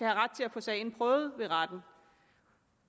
ret til at få sagen prøvet ved retten